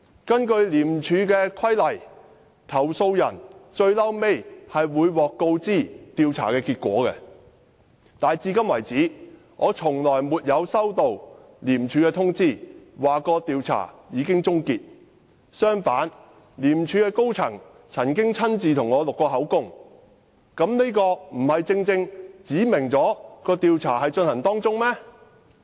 根據《廉政公署條例》，投訴人最終會獲告知調查結果，但我至今沒有收到廉署通知，表示調查已經結束，相反，廉署高層曾經親自替我錄口供，這豈不表示調查正在進行嗎？